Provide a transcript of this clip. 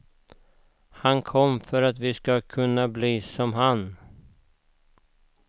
Han kom för att vi skulle kunna bli som han.